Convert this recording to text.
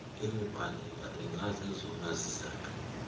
mibandela ingazezona zizathu